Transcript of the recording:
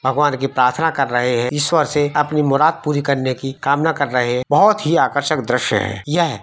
भगवान् की प्रार्थना कर रहे है ईश्वर से अपनी मुराद पूरी करने की कामना कर रहे है बोहोत ही आकर्षक दृश्य है।